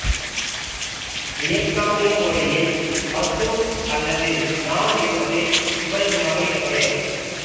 வியட்நாமிய மொழியில் மஷ்ரூம் அல்லது நாம் என்பது இவரது மகளின் பெயர்